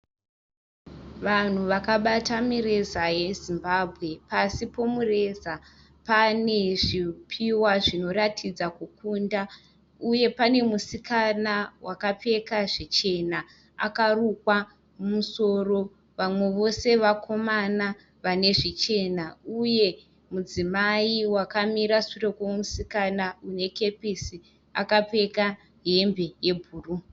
Vanhu vakabata mireza yeZimbabwe. Pasi pomureza pane zvipiwa zvinoratidza kukunda uye pane musikana wakapfeka zvichena akarukwa musoro. Vamwe vose vakomana vane zvichena uye mudzimai wakamira sure kwomusikana wakapfeka une kepisi akapfeka hembe yebhuru.